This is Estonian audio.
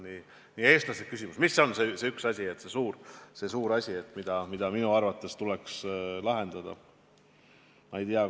See on nii eestlaslik küsimus: mis on see üks asi, see suur asi, mis minu arvates tuleks lahendada?